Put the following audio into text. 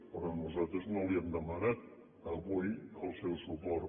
però nosaltres no li hem demanat avui el seu suport